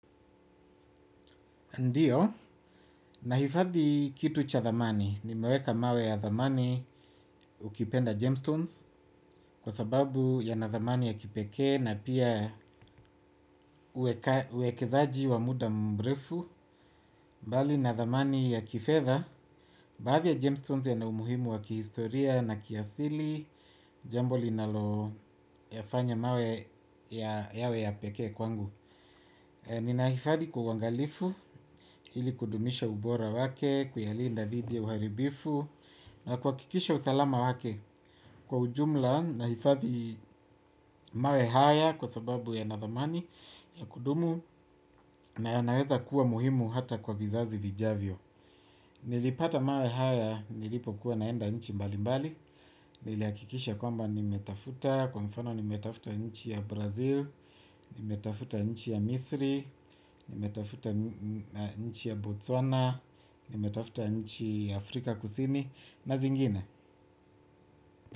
Ndiyo, nahifadhi kitu cha thamani, nimeweka mawe ya thamani ukipenda gemstones kwa sababu yana thamani ya kipekee na pia uekezaji wa muda mrefu, mbali na thamani ya kifedha, baadhi ya gemstones yana umuhimu wa kihistoria na kiasili, jambo linaloyafanya mawe yawe ya pekee kwangu. Ninahifadhi kwa uangalifu, ili kudumisha ubora wake, kuyalinda dhidi ya uharibifu na kuhakikisha usalama wake. Kwa ujumla nahifadhi mawe haya kwa sababu yana dhamani ya kudumu. Na yanaweza kuwa muhimu hata kwa vizazi vijavyo. Nilipata mawe haya, nilipokuwa naenda nchi mbalimbali. Nilihakikisha kwamba nimetafuta, kwa mfano nimetafuta nchi ya Brazil nimetafuta nchi ya Misri, nimetafuta nchi ya Botswana, nimetafuta nchi Afrika Kusini na zingine.